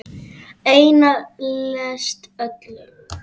Eina lest öls.